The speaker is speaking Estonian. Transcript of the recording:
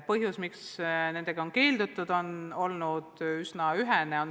Põhjus, miks on keeldutud, on olnud üsna ühene.